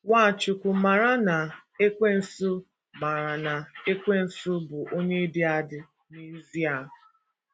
Nwachukwu maara na Ekwensu maara na Ekwensu bụ onye dị adị n’ezie